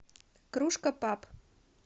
кружка паб